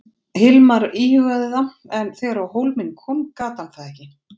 Hilmar íhugaði það en þegar á hólminn kom gat hann það ekki.